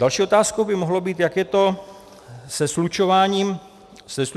Další otázkou by mohlo být, jak je to se slučováním rodin.